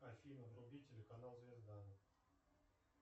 афина вруби телеканал звезда